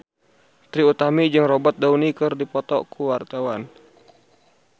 Trie Utami jeung Robert Downey keur dipoto ku wartawan